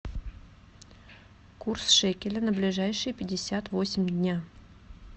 курс шекеля на ближайшие пятьдесят восемь дней